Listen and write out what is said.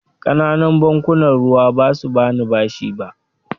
Ƙananan bankunan ruwa ba su ba ni bashi ba.